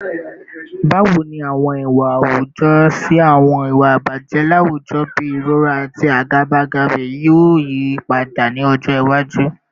Bawo ni awọn iwa awujọ si awọn iwa ibaje lawujọ bii irọra ati agabagebe yoo yipada ni ọjọ iwaju?